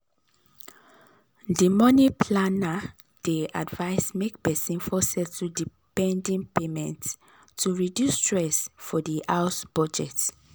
di money planner dey advise make person first settle di pending payments to reduce stress for di house budget